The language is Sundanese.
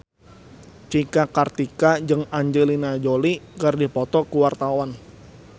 Cika Kartika jeung Angelina Jolie keur dipoto ku wartawan